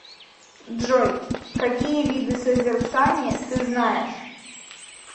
джой какие виды созерцание ты знаешь